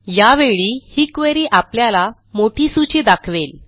यावेळी ही क्वेरी आपल्याला मोठी सूची दाखवेल